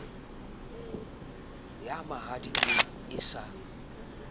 ya mahadi eo e sa